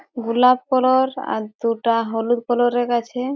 গোলাপ কালার আর দুটা হলুদ কালার -এর আছে।